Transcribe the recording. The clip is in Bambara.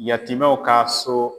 Yatimɛw ka so